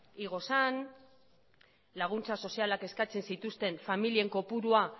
igo zen laguntza sozialak eskatzen zituzten familien kopurua